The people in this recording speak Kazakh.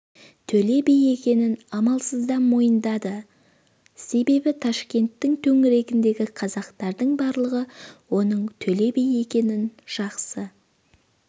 төле би екенін амалсыздан мойындады себебі ташкенттің төңірегіндегі қазақтардың барлығы оның төле би екенін жақсы